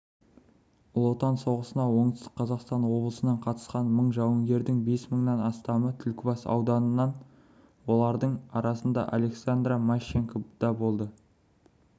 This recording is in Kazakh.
ұлы отан соғысына оңтүстік қазақстан облысынан қатысқан мың жауынгердің бес мыңнан астамы түлкібас ауданынан олардың арасында александра мащенко да болды